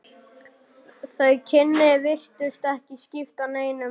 Þau kynni virtust ekki skipta neinu máli.